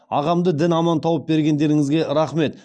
ағамды дін аман тауып бергендеріңізге рақмет